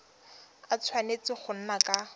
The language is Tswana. a tshwanetse go nna ka